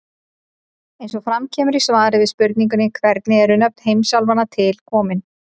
Eins og fram kemur í svari við spurningunni Hvernig eru nöfn heimsálfanna til komin?